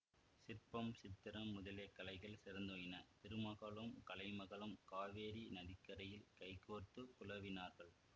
சிற்பம் சித்திரம் முதலிய கலைகள் சிறந்தோங்கின திருமகளும் கலைமகளும் காவேரி நதிக்கரையில் கைகோத்து குலாவினார்கள்